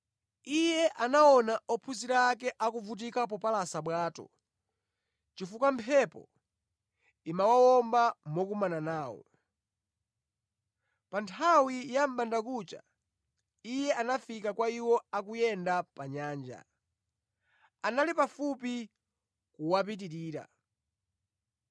Iye anaona ophunzira ake akuvutika popalasa bwato, chifukwa mphepo imawomba mokumana nawo. Pa nthawi ya mʼbandakucha Iye anafika kwa iwo akuyenda pa nyanja. Anali pafupi kuwapitirira,